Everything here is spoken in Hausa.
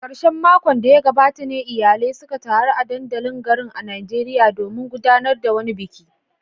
A karshen makon da ya gabata ne iyalai suka taru a dandalin garin a Najeriya domin gudanar da wani biki.